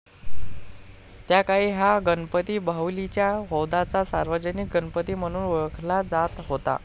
त्याकाळी हा गणपती बाहुलीच्या हौदाचा सार्वजनिक गणपती म्हणून ओळखला जात होता.